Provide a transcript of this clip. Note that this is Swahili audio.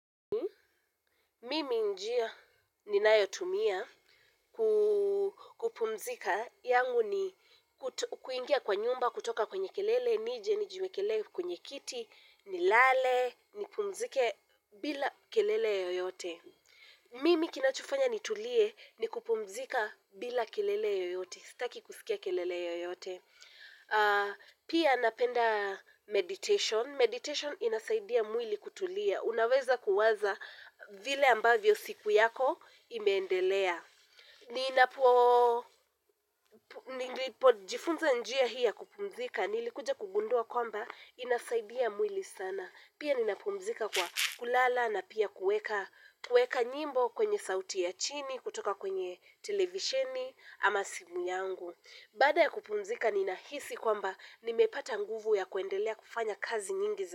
Mimi njia ninayotumia kupumzika yangu ni kuingia kwa nyumba kutoka kwenye kelele, nije nijiwekelele kwenye kiti, nilale, ni pummzike bila kelele yoyote. Mimi kinachofanya nitulie ni kupumzika bila kelele yoyote, sitaki kusikia kelele yoyote. Pia napenda meditation. Meditation inasaidia mwili kutulia. Unaweza kuwaza vile ambavyo siku yako imeendelea. Jifunza njia hii ya kupumzika, nilikuja kugundua kwamba, inasaidia mwili sana. Pia ninapumzika kwa kulala na pia kuweka nyimbo kwenye sauti ya chini kutoka kwenye televisheni ama simu yangu. Baada ya kupumzika, ninahisi kwamba, nimepata nguvu ya kuendelea kufanya kazi nyingi.